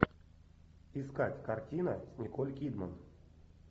искать картина с николь кидман